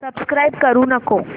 subscribe करू नको